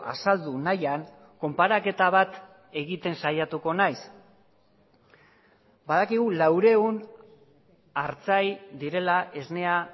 azaldu nahian konparaketa bat egiten saiatuko naiz badakigu laurehun artzain direla esnea